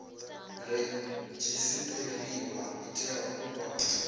redzisiṱariwa i tea u vha